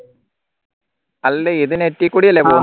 അല്ലേ ഇത് net കൂടി അല്ലേ